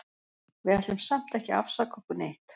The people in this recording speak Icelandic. Við ætlum samt ekki að afsaka okkur neitt.